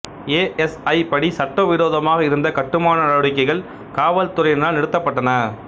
A S I படி சட்டவிரோதமாக இருந்த கட்டுமான நடவடிக்கைகள் காவல்துறையினரால் நிறுத்தப்பட்டன